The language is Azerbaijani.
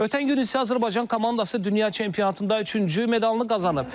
Ötən gün isə Azərbaycan komandası dünya çempionatında üçüncü medalını qazanıb.